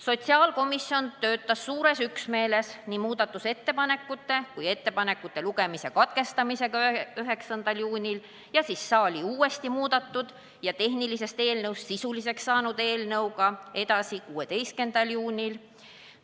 Sotsiaalkomisjon töötas suures üksmeeles nii muudatusettepanekute kui ka lugemise katkestamisega 9. juunil ja siis uuesti muudetud ja tehnilisest eelnõust sisuliseks saanud eelnõuga edasi 16. juunil.